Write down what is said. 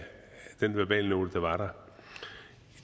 den verbalnote der var